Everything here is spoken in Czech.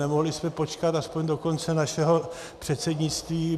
Nemohli jsme počkat aspoň do konce našeho předsednictví?